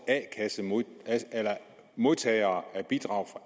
modtagere af bidrag